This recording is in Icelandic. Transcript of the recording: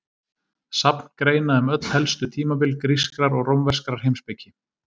Safn greina um öll helstu tímabil grískrar og rómverskrar heimspeki.